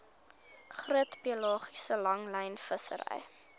groot pelagiese langlynvissery